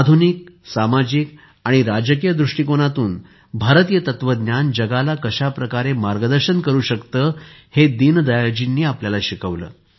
आधुनिक सामाजिक आणि राजकीय दृष्टीकोनातून भारतीय तत्त्वज्ञान जगाला कशा प्रकारे मार्गदर्शन करू शकते हे दीनदयाळजींनी आपल्याला शिकवले